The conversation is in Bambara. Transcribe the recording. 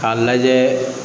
K'a lajɛ